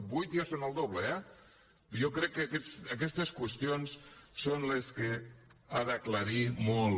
vuit ja són el doble eh jo crec que aquestes qüestions són les que ha d’aclarir molt